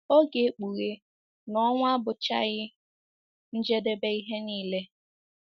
Ọ ga-ekpughe na ọnwụ abụchaghị njedebe ihe nile.